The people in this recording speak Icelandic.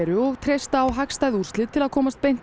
og treysta á hagstæð úrslit til að komast beint